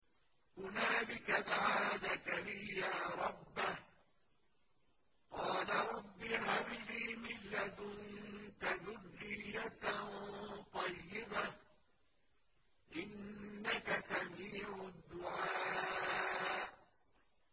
هُنَالِكَ دَعَا زَكَرِيَّا رَبَّهُ ۖ قَالَ رَبِّ هَبْ لِي مِن لَّدُنكَ ذُرِّيَّةً طَيِّبَةً ۖ إِنَّكَ سَمِيعُ الدُّعَاءِ